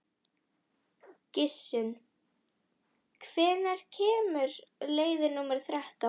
Gissunn, hvenær kemur leið númer þrettán?